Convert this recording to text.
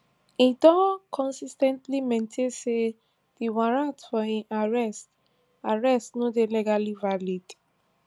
e don consis ten tly maintain say di warrant for im arrest arrest no dey legally valid